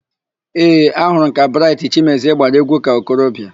Ee, ahụrụ m ka Braịtị Chimezie gbara égwú ka okorobịa.